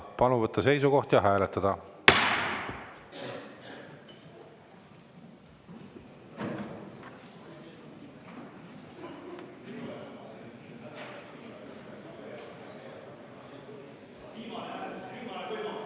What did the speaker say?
Palun võtta seisukoht ja hääletada!